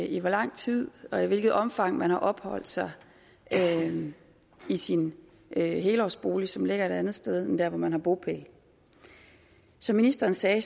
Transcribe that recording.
i hvor lang tid og i hvilket omfang man har opholdt sig i sin helårsbolig som ligger et andet sted end dér hvor man har bopæl som ministeren sagde